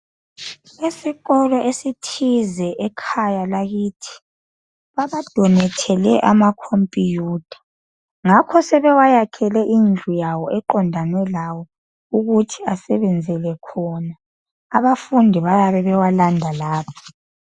Isikolo esithize ekhaya lakithi babadonethele amacomputer, ngakho sebewayakhele indlela yawo, eqondane lawo ukuthi asebenzele khona. Abafundi bayabe bewalanda lapha.